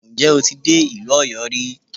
Ǹjẹ́ o ti dé ìlú Ọ̀yọ́ rí?